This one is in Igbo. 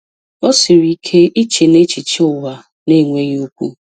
O siri ike iche nechiche ụwa na-enweghị okwu.